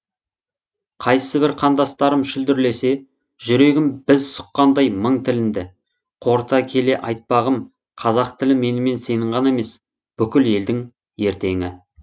қайсібір қандастарым шүлдірлесе жүрегім біз сұққандай мың тілінді қорыта келе айтпағым қазақ тілі менімен сенің ғана емес бүкіл елдің ертеңі